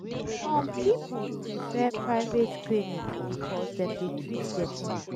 some pipo prefer private clinic bicos dem dey treat dem fast.